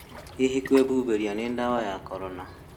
Hĩhĩ, kwĩhũhĩrĩa nĩ ndawa ya Korona